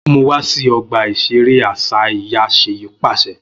Mu wa si ọgba iṣere aṣa iya Seyi paṣẹ